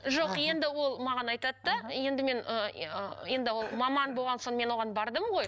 жоқ енді ол маған айтады да енді мен ыыы енді ол маман болған соң мен оған бардым ғой